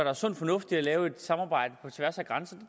er sund fornuft i at lave et samarbejde på tværs af grænserne